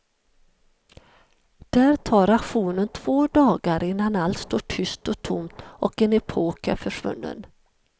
Där tar auktionen två dagar innan allt står tyst och tomt och en epok är försvunnen.